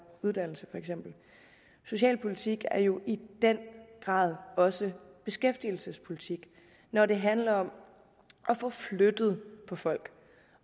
uddannelse for eksempel socialpolitik er jo i den grad også beskæftigelsespolitik når det handler om at få flyttet folk